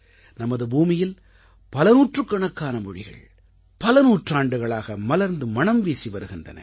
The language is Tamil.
நமது பூமியில் பலநூற்றுக்கணக்கான மொழிகள் பல நூற்றாண்டுகளாக மலர்ந்து மணம்வீசி வருகின்றன